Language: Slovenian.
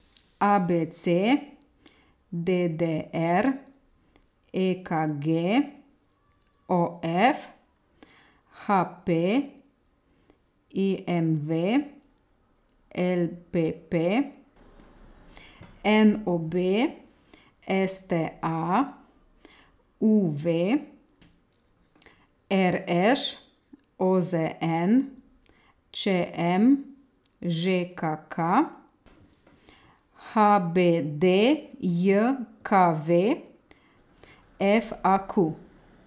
A B C; D D R; E K G; O F; H P; I M V; L P P; N O B; S T A; U V; R Š; O Z N; Č M; Ž K K; H B D J K V; F A Q.